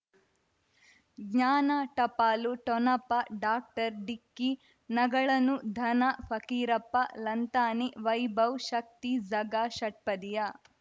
ಜ್ಞಾನ ಟಪಾಲು ಠೊಣಪ ಡಾಕ್ಟರ್ ಢಿಕ್ಕಿ ಣಗಳನು ಧನ ಫಕೀರಪ್ಪ ಳಂತಾನೆ ವೈಭವ್ ಶಕ್ತಿ ಝಗಾ ಷಟ್ಪದಿಯ